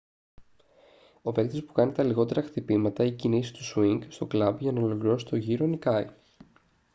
ο παίκτης που κάνει τα λιγότερα χτυπήματα ή κινήσεις του σουίνγκ στο κλαμπ για να ολοκληρώσει τον γύρο νικάει